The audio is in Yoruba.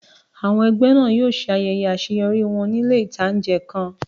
Àwọn ẹgbẹ́ náà yóò ṣe ayẹyẹ àṣeyọrí wọn ní ilé ìtánjẹ kan